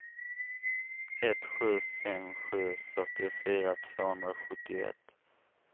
ett sju fem sju fyrtiofyra tvåhundrasjuttioett